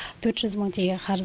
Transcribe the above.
төрт жүз мың тенге қарыз